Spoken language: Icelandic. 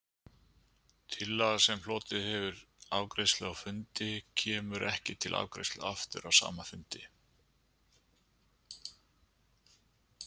Tillaga, sem hlotið hefur afgreiðslu á fundi, kemur ekki til afgreiðslu aftur á sama fundi.